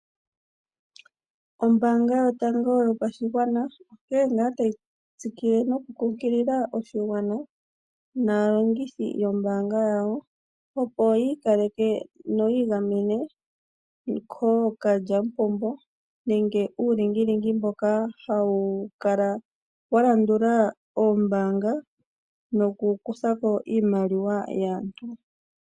Ombanga yotango yopashingwana yaNamibia onkee ngaa tayi tsikile nokukunkilila oshigwana naalongithi yombanga yawo opo yiikaleke yiingamena kookalyamupombo nokuulingilingi mboka walandula oombanga nokukuthapo iimaliwa yaantu.